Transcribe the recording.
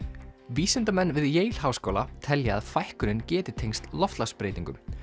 vísindamenn við háskóla telja að fækkunin geti tengst loftslagsbreytingum